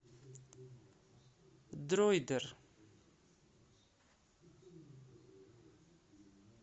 дроидер